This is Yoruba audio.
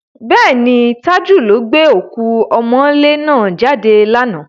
Bẹ́ẹ̀ni, Tájù ló gbé òkú ọmọ́ńlé náà jáde lánàá.